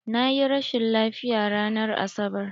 Na yi rashin lafiya ranar Asabar.